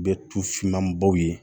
Bɛ tufinmanbaw ye